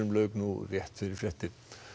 lauk nú rétt fyrir fréttir